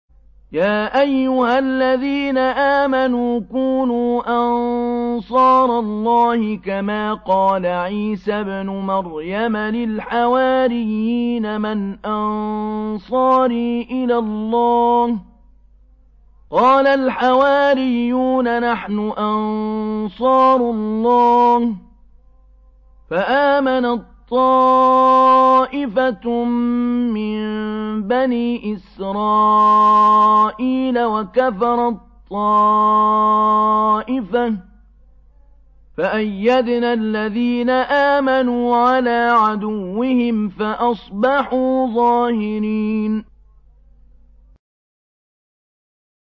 يَا أَيُّهَا الَّذِينَ آمَنُوا كُونُوا أَنصَارَ اللَّهِ كَمَا قَالَ عِيسَى ابْنُ مَرْيَمَ لِلْحَوَارِيِّينَ مَنْ أَنصَارِي إِلَى اللَّهِ ۖ قَالَ الْحَوَارِيُّونَ نَحْنُ أَنصَارُ اللَّهِ ۖ فَآمَنَت طَّائِفَةٌ مِّن بَنِي إِسْرَائِيلَ وَكَفَرَت طَّائِفَةٌ ۖ فَأَيَّدْنَا الَّذِينَ آمَنُوا عَلَىٰ عَدُوِّهِمْ فَأَصْبَحُوا ظَاهِرِينَ